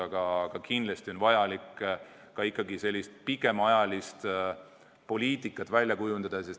Aga kindlasti on vajalik ikkagi ka selline pikemaajaline poliitika välja kujundada.